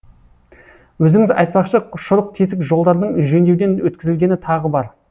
өзіңіз айтпақшы шұрық тесік жолдардың жөндеуден өткізілгені тағы бар